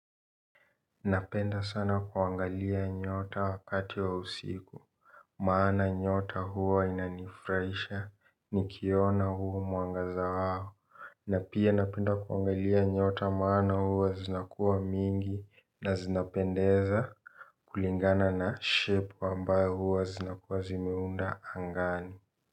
Napenda sana kuangalia nyota wakati wa usiku. Maana nyota huwa inanifuraisha nikiona huo mwangaza wao. Na pia napenda kuangalia nyota maana huwa zinakuwa mingi na zinapendeza kulingana na shepu ambayo huwa zinakuwa zimeunda angani.